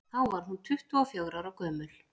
þá var hún tuttugu og fjögurra ára gömul